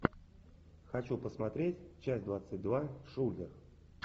хочу посмотреть часть двадцать два шулер